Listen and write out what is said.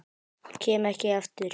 Kem ekki aftur.